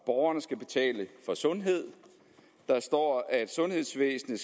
borgerne skal betale for sundhed og der står at sundhedsvæsenet